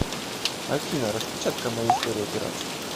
афина распечатка моей истории операций